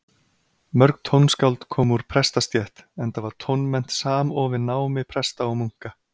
Mörg tónskáld komu úr prestastétt, enda var tónmennt samofin námi presta og munka.